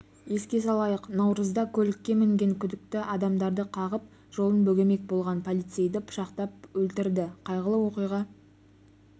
еске салайық наурызда көлікке мінген күдікті адамдарды қағып жолын бөгемек болған полицейді пышақтап өлтірді қайғылы оқиға